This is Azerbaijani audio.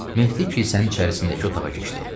Mehdi kilsənin içərisindəki otağa keçdi.